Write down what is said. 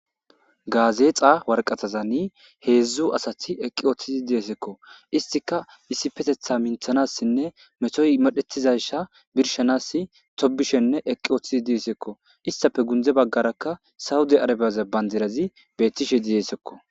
Gazexa woraqatazani hezdu asati eqiwutidi dizesiko istika issipeteta mintanasnne metoy medhetizaysa birshanasi tobishenne eqi wotidisko istape gunze bagaraka sawudiarebezi bandirazi betishe dizesiko.